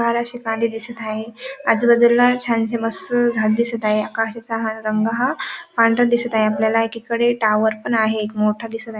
घराचे कांदे दिसत आहे आजूबाजूला छानसे मस्त झाडे दिसत आहे आकाशाचा हा रंग हा पांढरा दिसत आहे आपल्याला एकीकडे टॉवर पण आहे एक मोठा दिसत आहे.